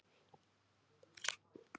Ef svo er, af hverju?